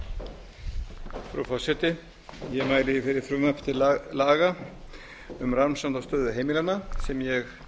frú forseti ég mæli hér fyrir frumvarpi til laga um um rannsókn á stöðu heimilanna sem ég